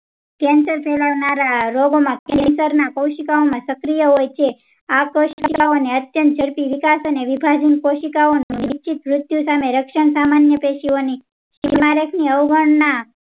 cancer ફેલાવનારા રોગો માં cancer ના કોઉશીકાંઓ માં સક્રિય હોય છે આ કોઉસીકાઓ ને અત્યંત ઝડપી વિકાસ અને વિભાજન કોઉસીકાઓ ની નિશ્ચિત મૃત્યુ સમયે રક્ષણ સામાન્ય પેઇકીઓની અવગણના